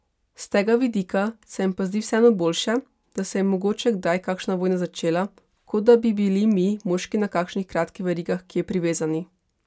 S tega vidika se mi pa zdi vseeno boljše, da se je mogoče kdaj kakšna vojna začela, kot da bi bili mi moški na kakšnih kratkih verigah kje privezani.